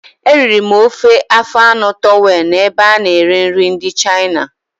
Eriri m ofe afọ anụ towelụ na ebe ana ere nri ndị Chịna